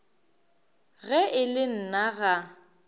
ge e le nna ga